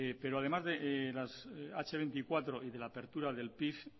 pero además de las hache veinticuatro y de la apertura del pif